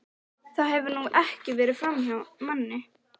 Það hefur nú ekki farið framhjá manni.